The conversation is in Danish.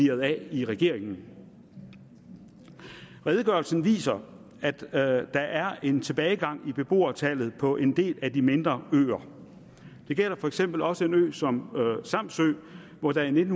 af i regeringen redegørelsen viser at der er en tilbagegang i beboertallet på en del af de mindre øer det gælder for eksempel også en ø som samsø hvor der i nitten